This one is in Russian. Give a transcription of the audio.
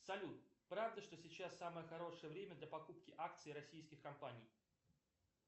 салют правда что сейчас самое хорошее время для покупки акций российских компаний